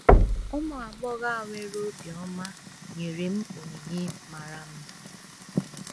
Ụmụ agbọghọ a nwere obiọma nyere m onyinye mara mma